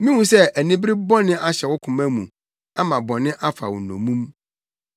Mihu sɛ anibere bɔne ahyɛ wo koma mu ama bɔne afa wo nnommum.”